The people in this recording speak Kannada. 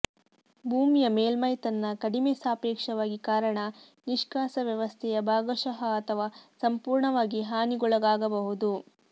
ಭೂಮಿಯ ಮೇಲ್ಮೈ ತನ್ನ ಕಡಿಮೆ ಸಾಪೇಕ್ಷವಾಗಿ ಕಾರಣ ನಿಷ್ಕಾಸ ವ್ಯವಸ್ಥೆಯ ಭಾಗಶಃ ಅಥವಾ ಸಂಪೂರ್ಣವಾಗಿ ಹಾನಿಗೊಳಗಾಗಬಹುದು